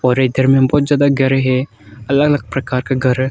और इधर में बहुत ज्यादा घर है अलग अलग प्रकार का घर--